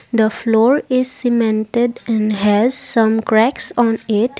The floor is cemented and has some cracks on it.